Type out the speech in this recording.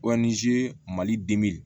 mali